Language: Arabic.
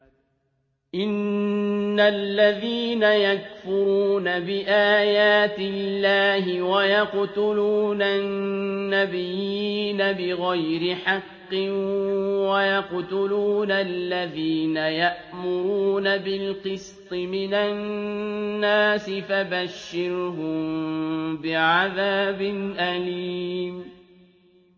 إِنَّ الَّذِينَ يَكْفُرُونَ بِآيَاتِ اللَّهِ وَيَقْتُلُونَ النَّبِيِّينَ بِغَيْرِ حَقٍّ وَيَقْتُلُونَ الَّذِينَ يَأْمُرُونَ بِالْقِسْطِ مِنَ النَّاسِ فَبَشِّرْهُم بِعَذَابٍ أَلِيمٍ